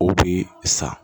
O bi sa